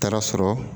Taara sɔrɔ